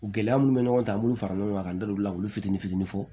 Gɛlɛya munnu bɛ ɲɔgɔn kan an b'olu fara ɲɔgɔn kan n da don la olu fitini fitini fɔ